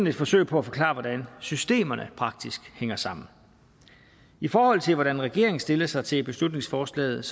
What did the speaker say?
et forsøg på at forklare hvordan systemerne praktisk hænger sammen i forhold til hvordan regeringen stiller sig til beslutningsforslaget